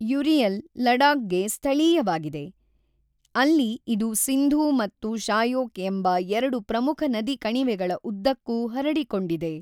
Uriel ಲಡಾಖ್‌ಗೆ ಸ್ಥಳೀಯವಾಗಿದೆ, ಅಲ್ಲಿ ಇದು ಸಿಂಧೂ ಮತ್ತು ಶಾಯೋಕ್ ಎಂಬ ಎರಡು ಪ್ರಮುಖ ನದಿ ಕಣಿವೆಗಳ ಉದ್ದಕ್ಕೂ ಹರಡಿಕೊಂಡಿದೆ.